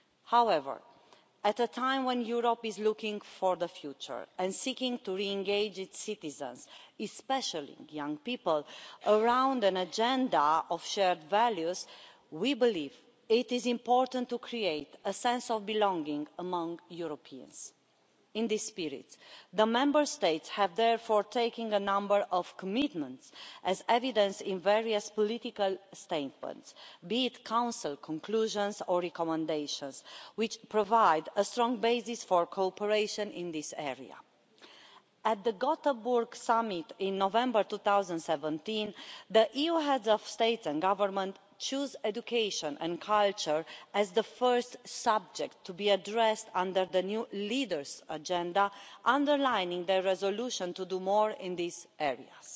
However, at a time when Europe is looking to the future and seeking to re engage its citizens, especially young people, around an agenda of shared values, we believe it is important to create a sense of belonging among Europeans. In this spirit, the Member States have therefore made a number of commitments, as evidenced in various political statements, be they Council conclusions or recommendations, which provide a strong basis for cooperation in this area. At the Gothenburg Summit in November 2017, the EU heads of state and government chose education and culture as the first subject to be addressed under the new Leaders' Agenda, underlining their resolution to do more in these areas.